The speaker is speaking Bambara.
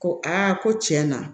Ko a ko tiɲɛ na